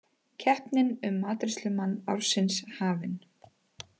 Keppnin um matreiðslumann ársins hafin